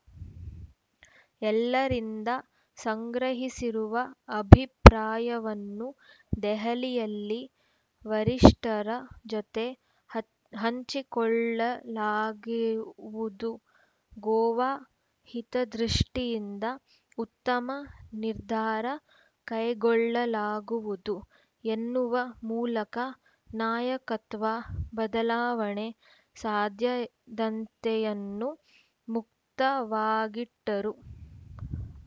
ಎಲ್ಲರಿಂದ ಸಂಗ್ರಹಿಸಿರುವ ಅಭಿಪ್ರಾಯವನ್ನು ದೆಹಲಿಯಲ್ಲಿ ವರಿಷ್ಠರ ಜತೆ ಹಂ ಹಂಚಿಕೊಳ್ಳಲಾಗುವುದು ಗೋವಾ ಹಿತದೃಷ್ಟಿಯಿಂದ ಉತ್ತಮ ನಿರ್ಧಾರ ಕೈಗೊಳ್ಳಲಾಗುವುದು ಎನ್ನುವ ಮೂಲಕ ನಾಯಕತ್ವ ಬದಲಾವಣೆ ಸಾಧ್ಯ ದಂತೆಯನ್ನು ಮುಕ್ತವಾಗಿಟ್ಟರು